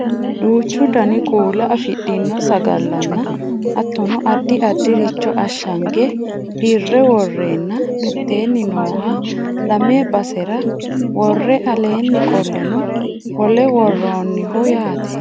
duuchu dani kuula afidhino sagallanna hattono addi addircho ashshange dirre worreenna mitteeni nooha lame basera worre aleenni qolleno wole worroonniho yaate